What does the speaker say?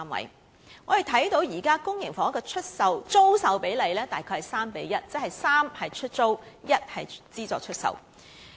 我們可以看到，現時公營房屋的租售比例約為 3：1， 即3個出租單位對1個資助出售單位。